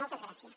moltes gràcies